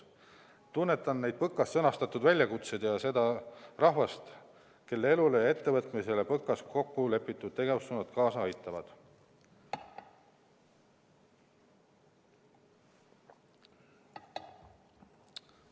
Ma tunnetan neid PõKas sõnastatud väljakutseid ja seda rahvast, kelle elule ja ettevõtmistele PõKas kokku lepitud tegevussuunad kaasa aitavad.